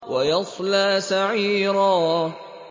وَيَصْلَىٰ سَعِيرًا